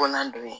Kɔnɔnan dun